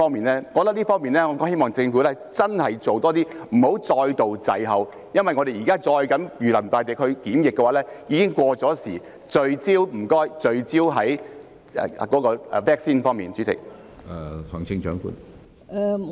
我覺得政府在這方面真的要做多一點，不要再度滯後，因為現時我們再這樣如臨大敵地進行檢疫已經過時，所以拜託聚焦在 vaccine 方面。